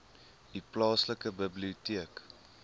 u plaaslike biblioteek